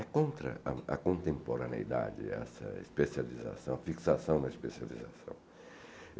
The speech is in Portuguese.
É contra a contemporaneidade essa especialização, fixação na especialização.